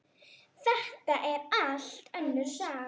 Þetta er allt önnur saga!